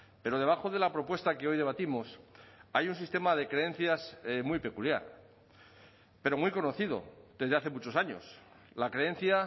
pero debajo de la propuesta que hoy debatimos hay un sistema de creencias muy peculiar pero muy conocido desde hace muchos años la creencia